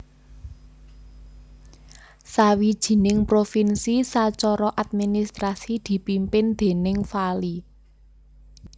Sawijining provinsi sacara administrasi dipimpin déning vali